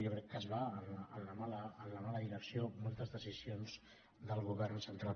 jo crec que es va en la mala direcció moltes decisions del govern central